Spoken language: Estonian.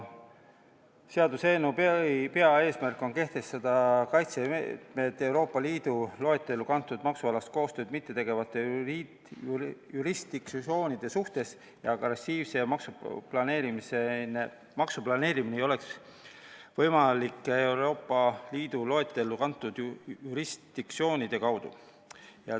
Seaduseelnõu peamine eesmärk on kehtestada kaitsemeetmed Euroopa Liidu loetellu kantud maksualast koostööd mittetegevate jurisdiktsioonide suhtes, et agressiivne maksuplaneerimine ei oleks võimalik Euroopa Liidu loetellu kantud jurisdiktsioonide kaudu.